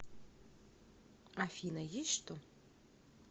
афина есть что